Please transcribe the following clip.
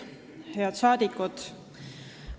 Head rahvasaadikud!